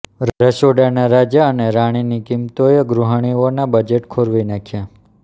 રસોડાના રાજા અને રાણીની કિંમતોએ ગૃહિણીઓનાં બજેટ ખોરવી નાખ્યાં